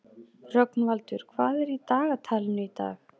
Rögnvaldur, hvað er í dagatalinu í dag?